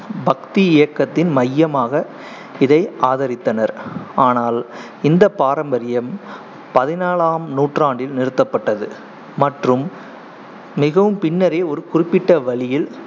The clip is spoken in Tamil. பக்தி இயக்கத்தின் மையமாக இதை ஆதரித்தனர் ஆனால் இந்த பாரம்பரியம் பதினாழாம் நூற்றாண்டில் நிறுத்தப்பட்டது மற்றும் மிகவும் பின்னரே ஒரு குறிப்பிட்ட வழியில்